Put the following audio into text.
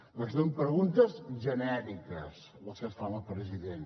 que són preguntes genèriques les que es fan al president